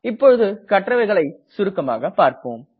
இப்போது கற்றவைகளை சுருக்கமாக பார்ப்போம்